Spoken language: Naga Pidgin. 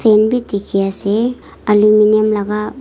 fan bi dikhiase aluminium laka.